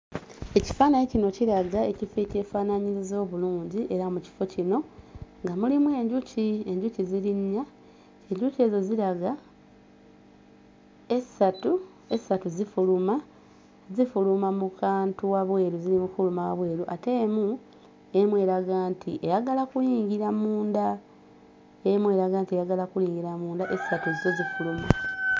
Ekifaananyi kino kiraga ekifo ekyefaanaanyiriza obulungi era mu kifo kino nga mulimu enjuki enjuki ziri nnya enjuki ezo ziraga essatu zifuluma, zifuluma mu kantu wabweru ziri mu kufuluma wabweru, ate emu emu eraga nti eyagala kuyingira munda. Emu eraga nti eyagala kuyingira munda essatu zo zifuluma.